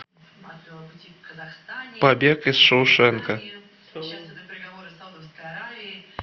побег из шоушенка